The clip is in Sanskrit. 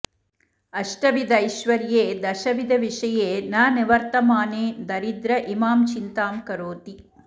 अष्टविधैश्वर्ये दशविधविषये न निवर्तमाने दरिद्र इमां चिन्तां करोति